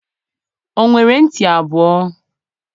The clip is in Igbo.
o nwere nti abuo?